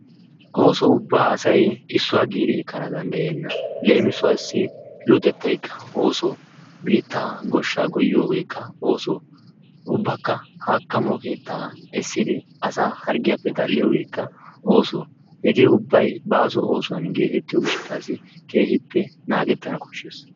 Ooso ubbaa asay issuwaa giidi ekkanaw danddayenna. Leemisuwaassi luxxettaykka ooso. Biittaa gooshshaa goyiyoogekka ooso ubbaaka haakkamo keettaa eessidi asaa harggiyaappe ashiyoogekka ooso. Hegee ubbay baaso oosuwaan oyqqettiyoo giishshasi keehippe maaddetana kooshshees.